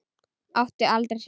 Vill út.